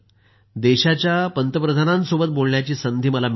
देशाच्या पंतप्रधानांसोबत बोलण्याची संधी मला मिळाली